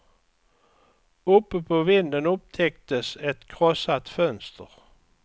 Uppe på vinden upptäcktes ett krossat fönster.